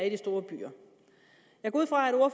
i de store byer jeg går ud fra